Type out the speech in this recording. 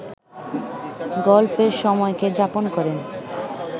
গল্পের সময়কে যাপন করেন